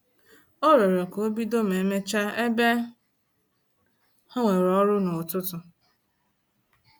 Ọ rịọrọ ka obido ma emecha ebe ha nwere ọrụ na-ụtụtụ